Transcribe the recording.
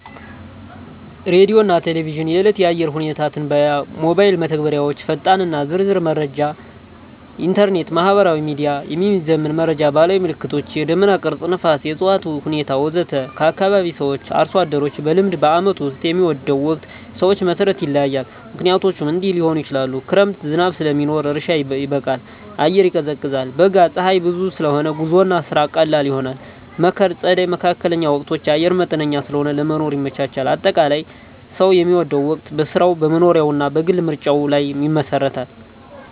ሬዲዮና ቴሌቪዥን – የዕለት የአየር ሁኔታ ትንበያ ሞባይል መተግበሪያዎች ፈጣንና ዝርዝር መረጃ ኢንተርኔት/ማህበራዊ ሚዲያ – የሚዘመን መረጃ ባህላዊ ምልክቶች – የደመና ቅርጽ፣ ነፋስ፣ የእፅዋት ሁኔታ ወዘተ ከአካባቢ ሰዎች/አርሶ አደሮች – በልምድ በዓመቱ ውስጥ የሚወደው ወቅት ሰዎች መሠረት ይለያያል፣ ምክንያቶቹም እንዲህ ሊሆኑ ይችላሉ፦ ክረምት – ዝናብ ስለሚኖር እርሻ ይበቃል፣ አየር ይቀዝቃዛል። በጋ – ፀሐይ ብዙ ስለሆነ ጉዞና ስራ ቀላል ይሆናል። መከር/ጸደይ (መካከለኛ ወቅቶች) – አየር መጠነኛ ስለሆነ ለመኖር ይመቻቻል። አጠቃላይ፣ ሰው የሚወደው ወቅት በሥራው፣ በመኖሪያው እና በግል ምርጫው ላይ ይመሰረታል።